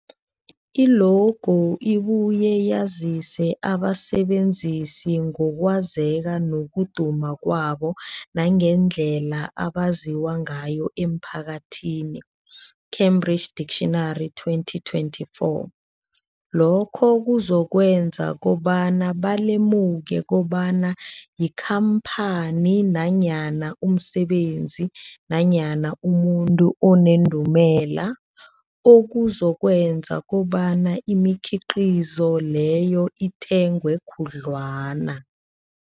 I-logo ibuye yazise abasebenzisi ngokwazeka nokuduma kwabo nangendlela abaziwa ngayo emphakathini, Cambridge Dictionary 2024. Lokho kuzokwenza kobana balemuke kobana yikhamphani nanyana umsebenzi nanyana umuntu onendumela, okuzokwenza kobana imikhiqhizo leyo ithengwe khudlwana.